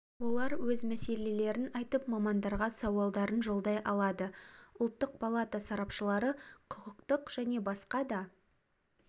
олар өз мәселелерін айтып мамандарға сауалдарын жолдай алады ұлттық палата сарапшылары құқықтық және басқа да